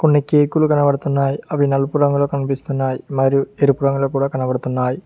కొన్ని కేకు లు కనబడుతున్నాయి అవి నలుపు రంగులో కనిపిస్తున్నాయి మరియు ఎరుపు రంగులో కూడా కనబడుతున్నాయ్.